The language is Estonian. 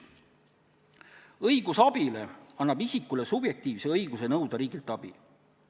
Õigus abile annab isikule subjektiivse õiguse nõuda riigilt abi.